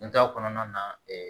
N da kɔnɔna na